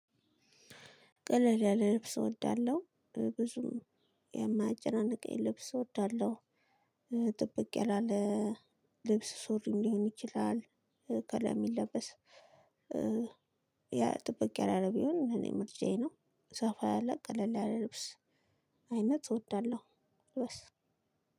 ቀለል ያለ ልብስ እወዳለሁ ብዙም የማያጨናንቀኝ ልብስ እወዳለሁ። ጥበቅ ያላለ ልብስ ሱሪም ሊሆን ይችላል። ከላይ የሚለበስ ያ ጥብቅ ያላለ ቢሆን እኔ ምርጫዬ ነው። ሰፋ ያለ ቀለል ያለ ልብስ አይነት እወዳለሁ። ወስ